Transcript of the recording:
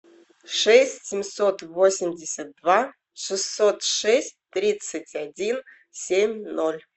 шесть семьсот восемьдесят два шестьсот шесть тридцать один семь ноль